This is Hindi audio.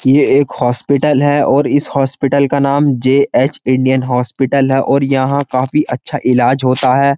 ये एक हॉस्पिटल है। और इस हॉस्पिटल का नाम जे.एच. इंडियन हॉस्पिटल है और यहाँ काफी अच्छा इलाज होता है।